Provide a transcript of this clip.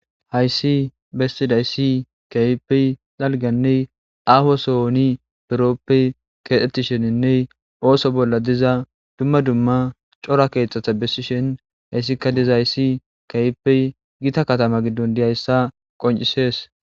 Hayssi bestidayssi kaypey xalganney aho sohoni duroppey keexxetisheninne ooso bolla diza dumma dumma cora keexxata bessishen hayssika dizaayssi kayipey gita katama giddon diyayssa qoncisees.